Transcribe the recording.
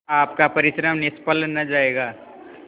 आपका परिश्रम निष्फल न जायगा